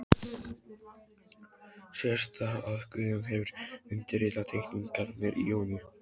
Sést þar, að Guðjón hefur undirritað teikningarnar í júní